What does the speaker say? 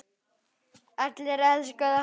Allir elskuðu hann.